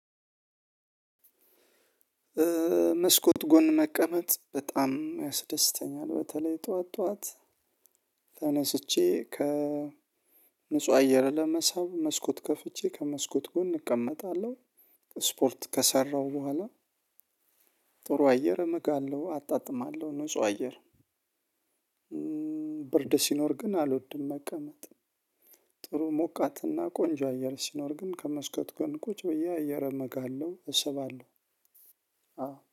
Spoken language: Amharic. መስኮት ጎን መቀመጥ በጣም ያስደስተኛል። በተለይ ጠዋት ጠዋት ተነስቼ ከንጹህ አየር ለመሳብ መስኮት ከፍቼ ከመስኮት ጎን እቀመጣለሁ። ስፖርት ከሰራሁ በኋላ ጥሩ አየር እምጋለሁ አጣጥማለሁ ንጹህ አየር። ብርድ ሲኖር ግን አልወድም መቀመጥ። ጥሩ ሞቃትና ቆንጆ አየር ሲኖር ግን ከመስኮት ጎን ቁጭ ብዬ አየር እምጋለሁ እስባለሁ።